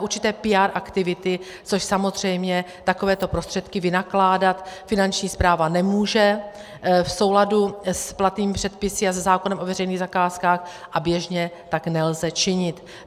určité PR aktivity, což samozřejmě takovéto prostředky vynakládat Finanční správa nemůže v souladu s platnými předpisy a se zákonem o veřejných zakázkách a běžně tak nelze činit.